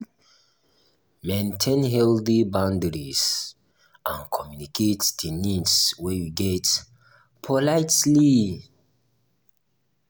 maintain healthy boundries and communicate di needs wey you get politely